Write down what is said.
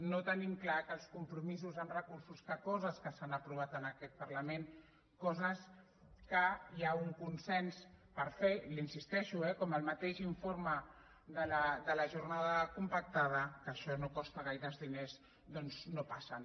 no tenim clar que els compromisos en recursos que coses que s’han aprovat en aquest parlament coses que hi ha un consens per fer i hi insisteixo eh com el mateix informe de la jornada compactada que això no costa gaires diners doncs no passen